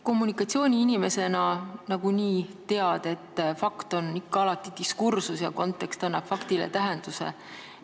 Kommunikatsiooniinimesena sa nagunii tead, et fakt on alati diskursus ja kontekst annab faktile tähenduse.